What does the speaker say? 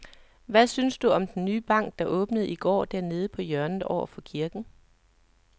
Hvad synes du om den nye bank, der åbnede i går dernede på hjørnet over for kirken?